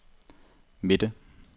midte